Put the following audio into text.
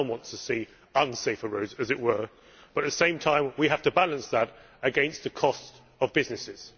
No one wants to see unsafer roads, as it were, but at the same time we have to balance that against the cost of businesses.